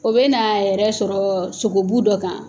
O bɛna a yɛrɛ sɔrɔ sogobu dɔ kan